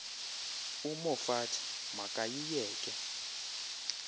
umoffat ma kayiyeke